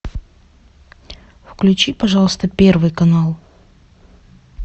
включи пожалуйста первый канал